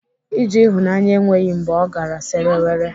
Ije ịhụnanya enweghị mgbe ọ gara sere were.